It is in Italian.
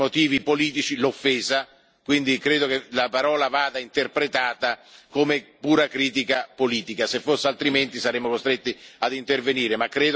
per motivi razziali, né per motivi politici, quindi credo che la parola vada interpretata come pura critica politica.